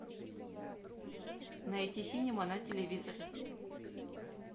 найти синема на телевизоре